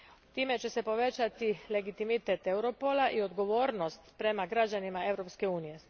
Time će se povećati legitimitet Europola i odgovornost prema građanima Europske unije.